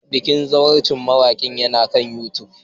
Bikin zawarcin mawakin yana kan YouTube